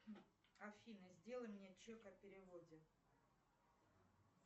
афина сделай мне чек о переводе